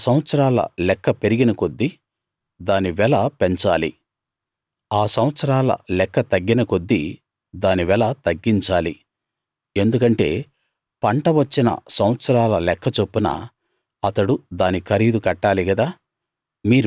ఆ సంవత్సరాల లెక్క పెరిగిన కొద్దీ దాని వెల పెంచాలి ఆ సంవత్సరాల లెక్క తగ్గిన కొద్దీ దాని వెల తగ్గించాలి ఎందుకంటే పంటవచ్చిన సంవత్సరాల లెక్క చొప్పున అతడు దాని ఖరీదు కట్టాలి గదా